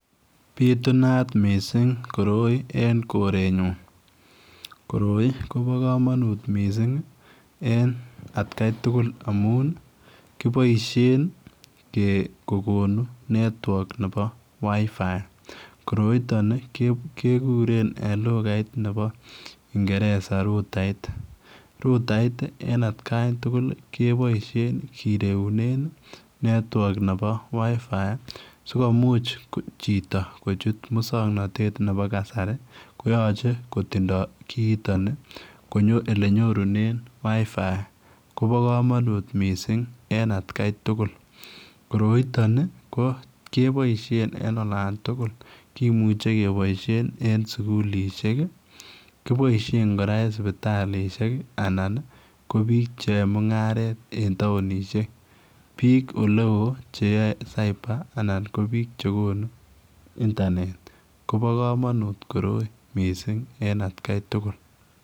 Bitunat missing koroi en korenyuun koroi kobaa kamanuut missing en at Kai tugul amuun kibaisheen kokonuu [network] nebo wireless fidelity koroitaan kegureen en lugaiit nebo ingereza [router] rutait ii en at kaan tugul ii kebaisheen kireunen ii [network] nebo [wireless fidelity] sikomuuch chitoo kochuut musangnatet nebo kasari koyachei kotindai kiiy tanii konyoor ole nyorunen [wireless fidelity] ko bo kamanut missing en at gai tugul koroitaan ni kebaisheen en olaan tugul, kimuchei kebaisheen eng sugulisheek, kibaisheen kora en sipitalishek anan ko biik che yae mungaret en townishek ko biik ole wooh che yae [cyber] anan ko biik che konuu [internet] kobaa kamanuut koroi mising en at gai tugul.